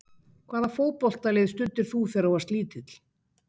Hvaða fótboltalið studdir þú þegar þú varst lítill?